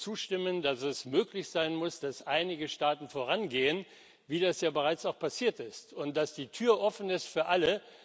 Würden Sie zustimmen, dass es möglich sein muss, dass einige Staaten vorangehen, wie das ja bereits auch passiert ist, und dass die Tür offen ist für alle?